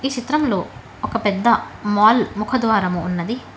చిత్రములో ఒక పెద్ద మాల్ ముఖద్వారము ఉన్నది.